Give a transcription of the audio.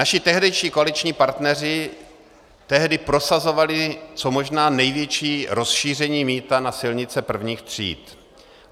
Naši tehdejší koaliční partneři tehdy prosazovali co možná největší rozšíření mýta na silnice prvních tříd.